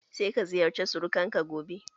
Sai ka ziyarce surukan ka gobe!